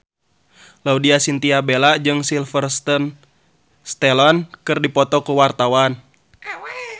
Laudya Chintya Bella jeung Sylvester Stallone keur dipoto ku wartawan